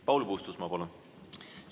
Paul Puustusmaa, palun!